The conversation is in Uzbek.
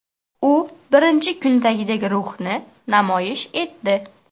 U birinchi kundagidek ruhni namoyish etdi.